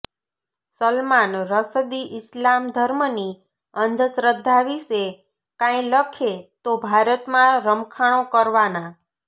સલમાન રશદી ઇસ્લામ ધર્મની અંધશ્રદ્ધા વિશે કાંઈ લખે તો ભારતમાં રમખાણો કરવાના